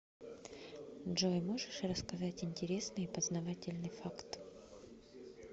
джой можешь рассказать интересный и познавательный факт